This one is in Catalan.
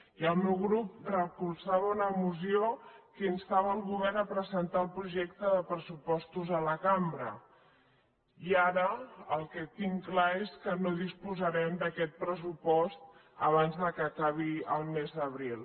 i el meu grup recolzava una moció que instava el govern a presentar el projecte de pressupostos a la cambra i ara el que tinc clar és que no disposarem d’aquest pressupost abans que acabi el mes d’abril